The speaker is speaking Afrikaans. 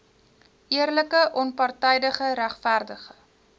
eerlike onpartydige regverdige